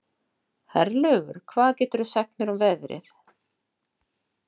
Herlaugur, hvað geturðu sagt mér um veðrið?